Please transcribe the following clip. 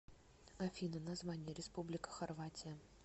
афина название республика хорватия